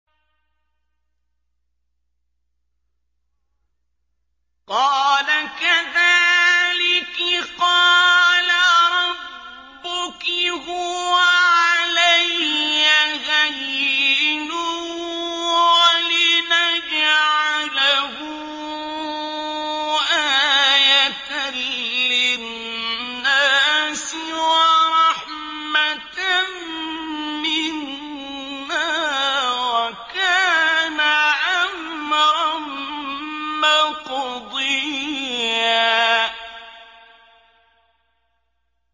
قَالَ كَذَٰلِكِ قَالَ رَبُّكِ هُوَ عَلَيَّ هَيِّنٌ ۖ وَلِنَجْعَلَهُ آيَةً لِّلنَّاسِ وَرَحْمَةً مِّنَّا ۚ وَكَانَ أَمْرًا مَّقْضِيًّا